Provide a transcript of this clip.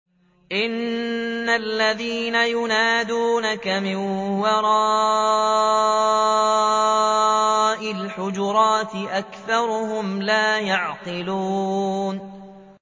إِنَّ الَّذِينَ يُنَادُونَكَ مِن وَرَاءِ الْحُجُرَاتِ أَكْثَرُهُمْ لَا يَعْقِلُونَ